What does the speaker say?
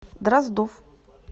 дроздов